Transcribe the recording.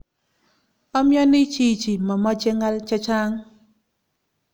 Omioni chichi momeche ng'al chechang